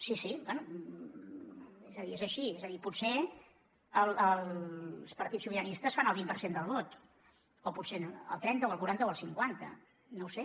sí sí bé és a dir és així és a dir potser els partits sobiranistes fan el vint per cent del vot o potser el trenta o el quaranta o el cinquanta no ho sé